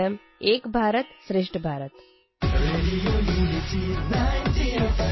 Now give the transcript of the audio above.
radio unity ninety F